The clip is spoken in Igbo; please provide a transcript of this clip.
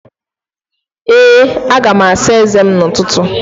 Ee, aga m asa eze m n'ụtụtụ